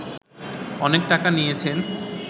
অনেক টাকা নিয়েছেন